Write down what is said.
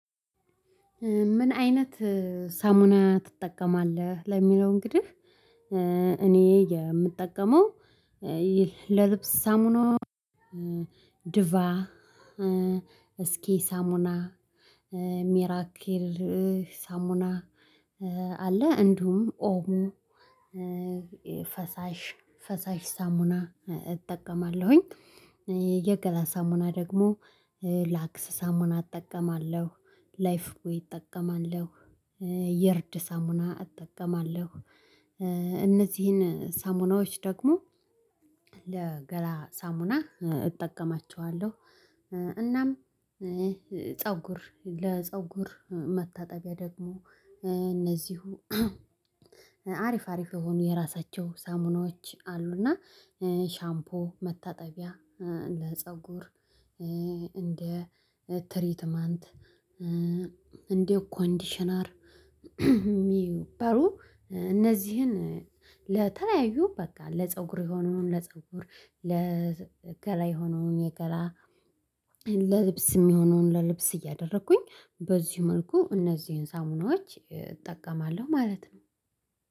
ምን አይነት ሳሙና ትጠቀማለህ ለሚለው? እንግድህ እኔ የምጠቀመው ለልብስ ሳሙና ድቫ ሳሙና ሚራኪል ሳሙና አለ እንዲሁም ኦሞ ፈሳሽ ፈሳሽ ሳሙና እጠቀማለሁኝ። የገላ ሳሙና ደግሞ ላክስ ሳሙና እጠቀማለሁ ላይፍ ቦይ እጠቀማለሁ የእርድ ሳሙና እጠቀማለሁ። እነዚህን ሳሙናዎች ደግሞ ለገላ ሳሙና እጠቀማቸዋለሁ። እናም ፀጉር ለፀጉር መታጠቢያ ደግሞ እደዚሁ አሪፍ አሪፍ የሆኑ የራሳቸው ሳሙናዎች አሉና ሻምፖ መታጠቢያ ለፀጉር እንደ ትሪትመንት እንደ ኮንዲሽነር የሚባሉ እነዚህን ለተለያዩ በቃ ለፀጉር የሆነውን ለፀጉር ለገላ የሆነውን የገላ ለልብስ እሚሆነውን ለልብስ እያደረኩኝ በዚህ መልኩ እነዚህን ሳሙናዎች እጠቀማለሁ ማለት ነው